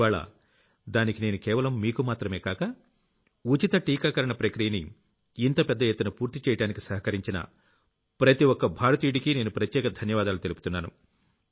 ఇవ్వాళ్ల దానికి నేను కేవలం మీకు మాత్రమే కాక ఉచిత టీకాకరణ ప్రక్రియని ఇంత పెద్ద ఎత్తున పూర్తి చేయడానికి సహకరించిన ప్రతి ఒక్క భారతీయుడికీ నేను ప్రత్యేక ధన్యవాదాలు తెలుపుతున్నాను